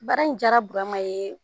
Baara in jara Burama ye